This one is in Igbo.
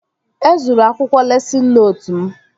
E zuru akwụkwọ lesịn nootu m